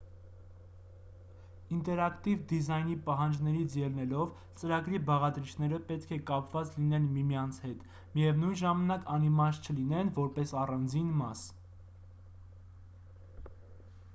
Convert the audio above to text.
ինտերակտիվ դիզայնի պահանջներից ելնելով ծրագրի բաղադրիչները պետք է կապված լինեն միմյանց հետ միևնույն ժամանակ անիմաստ չլինեն որպես առանձին մաս